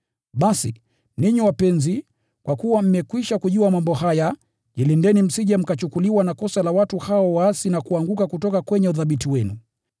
Basi, ninyi wapenzi, kwa kuwa mmekwisha kujua mambo haya, jilindeni msije mkachukuliwa na kosa la watu hao waasi na kuanguka kutoka kwenye uthabiti wenu.